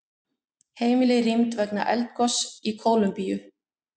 Heimili rýmd vegna eldgoss í Kólumbíu